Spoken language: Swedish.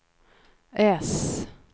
S